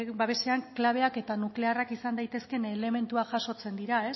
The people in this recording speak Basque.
babesean klabeak eta nuklearrak izan daitezkeen elementuak jasotzen dira